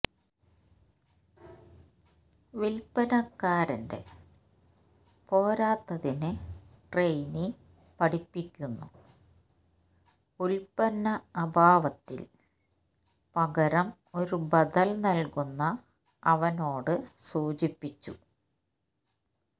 വിൽപ്പനക്കാരന്റെ പോരാത്തതിന് ട്രെയിനി പഠിപ്പിക്കുന്നു ഉൽപ്പന്ന അഭാവത്തിൽ പകരം ഒരു ബദൽ നൽകുന്ന അവനോടു സൂചിപ്പിച്ചു